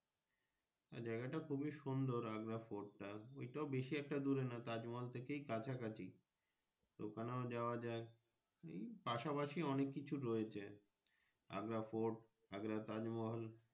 জায়গা টা খুবই সুন্দর আগ্রা কোট টা ওই টাও বেশি একটা দূরে নয় তাজমহাজ থাকে কাছাকাছি ওখানে যাওয়া যাই পাশা পাশি অনেক কিছু রয়েছে আগ্রা fort আগ্রা তাজমহল।